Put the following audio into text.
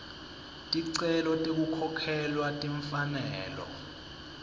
ticelo tekukhokhelwa timfanelo